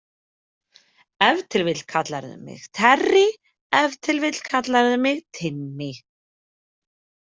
Ef til vill kallarðu mig Terry, ef til vill kallarðu mig Timmy.